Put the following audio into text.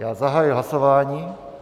Já zahajuji hlasování.